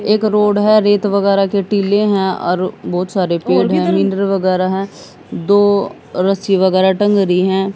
एक रोड है रेत वगैरा के टीले हैं और बहुत सारे पेड़ है वगैरा है दो रस्सी वगैरा टंग री है।